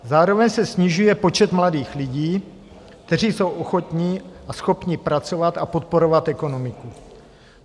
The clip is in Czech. Zároveň se snižuje počet mladých lidí, kteří jsou ochotni a schopni pracovat a podporovat ekonomiku.